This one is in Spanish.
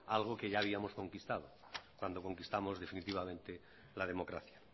algo que habíamos conquistado cuando conquistamos definitivamente la democracia